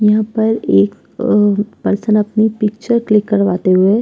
यहाँ पर एक अ पर्सन अपनी पिक्चर क्लिक करवाते हुए --